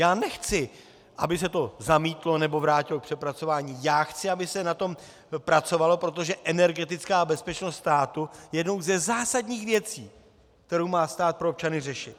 Já nechci, aby se to zamítlo nebo vrátilo k přepracování, já chci, aby se na tom pracovalo, protože energetická bezpečnost státu je jednou ze zásadních věcí, kterou má stát pro občany řešit.